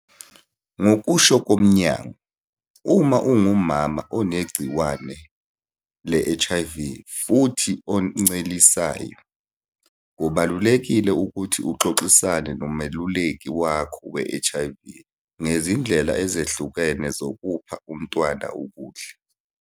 Ngokusho komnyango, uma ungumama onegciwane le-HIV futhi oncelisayo, kubalulekile ukuthi uxoxisane nomeluleki wakho we-HIV ngezindlela ezehlukene zokupha umntwana ukudla.